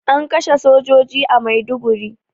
An kashe sojoji a Maiduguri